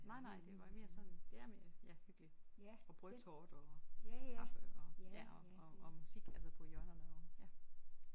Nej nej det var mere sådan det er mere ja hyggeligt og brødtorte og kaffe og ja og og musik altså på hjørnerne og ja